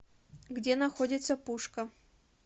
где находится пушка